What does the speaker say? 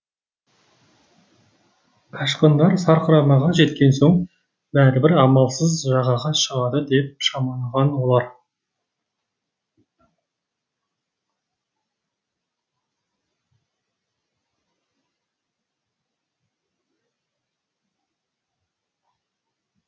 қашқындар сарқырамаға жеткен соң бәрібір амалсыз жағаға шығады деп шамалаған олар